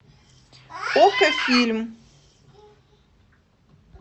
окко фильм